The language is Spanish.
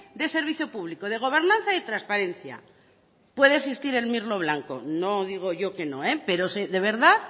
de servicio público de gobernanza y transparencia puede existir el mirlo blanco no digo yo que no pero de verdad